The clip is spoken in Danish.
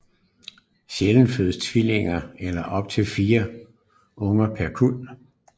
Sjældent fødes tvillinger eller op til fire unger per kuld